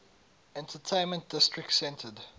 entertainment district centered